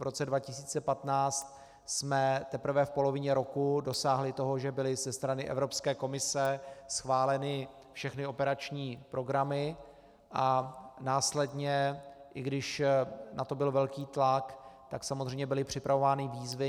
V roce 2015 jsme teprve v polovině roku dosáhli toho, že byly ze strany Evropské komise schváleny všechny operační programy, a následně, i když na to byl velký tlak, tak samozřejmě byly připravovány výzvy.